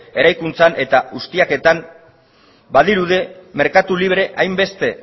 eraikuntzan eta ustiaketan badirudi merkatu libre hainbeste